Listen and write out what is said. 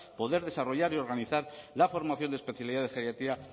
poder desarrollar y organizar la formación de especialidad de geriatría